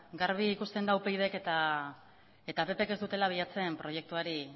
garbi ikusten da upydk eta ppk ez dutela bilatzen proiektuari